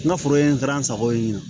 N ka foro ye n taara n sago ye